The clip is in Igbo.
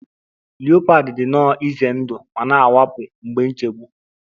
Leopard dị nnọọ ize ndụ ma na-awakpo mgbe nchegbu